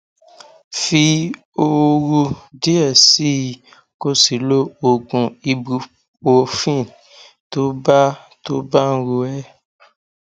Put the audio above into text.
fi ooru díẹ sí i kó o sì lo oògùn ibuprofen tó bá tó bá ń ro ẹ